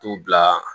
T'u bila